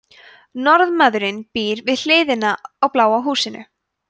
norðmaðurinn býr við hliðina á bláa húsinu